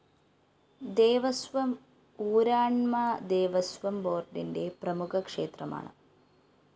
ദേവസ്വം ഊരാണ്മ ദേവസ്വം ബോര്‍ഡിന്റെ പ്രമുഖ ക്ഷേത്രമാണ്